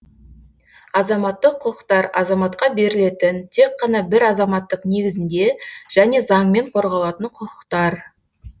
азаматтық құқықтар азаматқа берілетін тек қана бір азаматтық негізінде және заңмен қорғалатын құқықтар